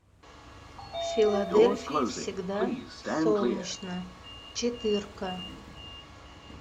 в филадельфии всегда солнечно четырка